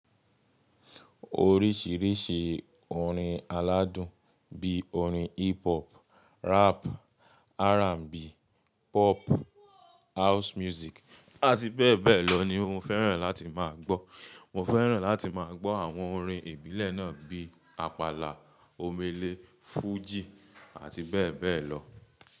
Oríṣiríṣi orin aládùn bí i orin hip hop, rap, R&B, pop, house music àti bẹ́ẹ̀ bẹ́ẹ̀ lọ ni mo fẹ́ràn láti má a gbọ́. Mo fẹ́ràn láti má a gbọ́ àwọn orin ìbílẹ̀ náà bíi àpàlà, omele, fújì àti bẹ́ẹ̀ bẹ́ẹ̀ lọ.